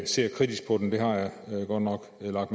ser kritisk på den det har jeg godt nok lagt